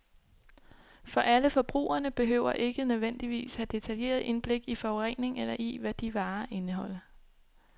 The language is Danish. For alle forbrugerne behøver ikke nødvendigvis have detaljeret indblik i forurening eller i, hvad de varer indeholder.